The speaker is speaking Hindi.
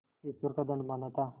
ईश्वर का दंड माना था